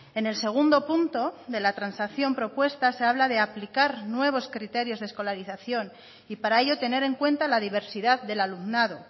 en el segundo punto de la transacción propuesta se habla de aplicar nuevos criterios de escolarización y para ello tener en cuenta la diversidad del alumnado